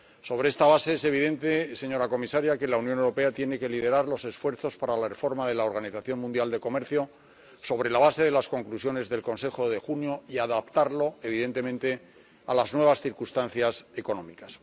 Sobre esta base es evidente, señora comisaria, que la Unión Europea tiene que liderar los esfuerzos para la reforma de la Organización Mundial de Comercio sobre la base de las Conclusiones del Consejo de junio y adaptarlo, evidentemente, a las nuevas circunstancias económicas.